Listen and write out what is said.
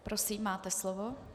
Prosím, máte slovo.